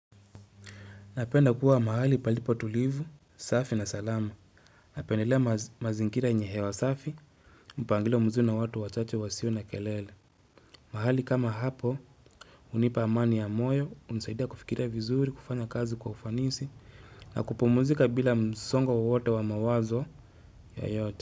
Napenda kuwa mahali palipo tulivu, safi na salama. Napendelea mazingira yenye hewa safi, mpangilio mzuri watu wa chache wasio na kelele. Mahali kama hapo, unipa amani ya moyo, unizaidia kufikira vizuri, kufanya kazi kwa ufanisi, na kupomuzika bila msongo wowote wa mawazo yeyote.